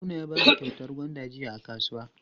Haruna ya bamu kyautar gwanda jiya a kasuwa.